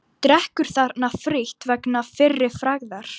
Drekkur þarna frítt vegna fyrri frægðar.